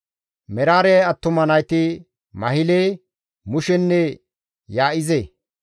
Meraare attuma nayti Mahile, Mushenne Yaa7ize.